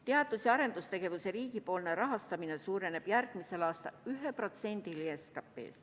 Teadus- ja arendustegevuse riigipoolne rahastamine suureneb järgmisel aastal 1%-ni SKP-st.